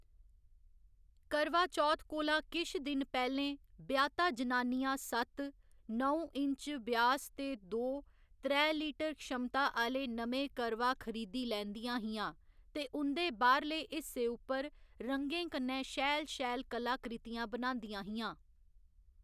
करवा चौथ कोला किश दिन पैह्‌लें ब्याह्‌ता जनानियां सत्त, नौ इंच व्यास ते दो, त्रै लीटर क्षमता आह्‌ले नमें करवा खरीदी लैंदियां हियां ते उं'दे बाह्‌रले हिस्से उप्पर रंगें कन्नै शैल शैल कलाकृतियां बनांदियां हियां।